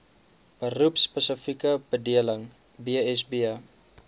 beroepspesifieke bedeling bsb